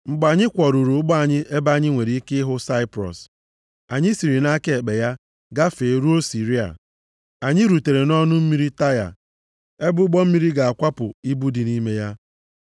Mgbe anyị kwọruru ụgbọ anyị ebe anyị nwere ike ịhụ Saiprọs, anyị siri nʼaka ekpe ya gafee, ruo Siria. Anyị rutere nʼọnụ mmiri Taịa, ebe ụgbọ mmiri ga-akwapụ ibu dị nʼime ya.